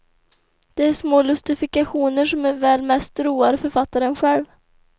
Det är små lustifikationer som väl mest roar författaren själv.